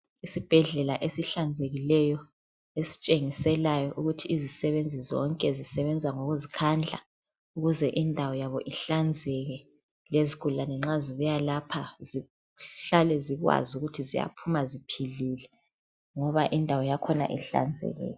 Sikhona isibhedlela esihlanzekileyo esitshengiselayo ukuthi izisebenzi zonke zisebenza ngokuzikhandla ukuze indawo yabo ihlanzeke lezigulani nxa zibuya lapha zihlale zikwazi ukuthi ziyaphuma ziphile ngoba indawo yakhona ihlanzekile.